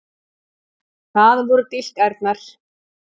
Það voru dilkærnar.